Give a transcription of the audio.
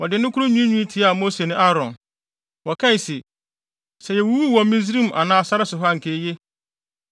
Wɔde nne koro nwiinwii tiaa Mose ne Aaron. Wɔkae se, “Sɛ yewuwuu wɔ Misraim anaa sare so ha a, anka eye.